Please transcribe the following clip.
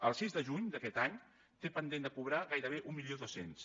el sis de juny d’aquest any té pendent de cobrar gairebé mil dos cents